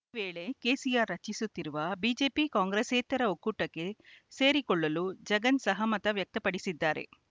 ಈ ವೇಳೆ ಕೆಸಿಆರ್‌ ರಚಿಸುತ್ತಿರುವ ಬಿಜೆಪಿಕಾಂಗ್ರೆಸ್ಸೇತರ ಒಕ್ಕೂಟಕ್ಕೆ ಸೇರಿಕೊಳ್ಳಲು ಜಗನ್‌ ಸಹಮತ ವ್ಯಕ್ತಪಡಿಸಿದ್ದಾರೆ